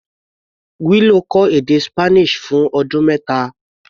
Willow kọ́ èdè Spanish fún ọdún mẹ́ta.